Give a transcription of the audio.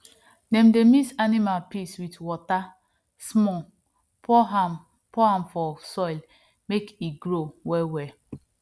dem dey mix animal piss with water small pour am pour am for soil make e grow wellwell